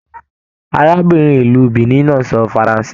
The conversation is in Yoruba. Arábìnrin ìlú Benin náà n sọ faransé.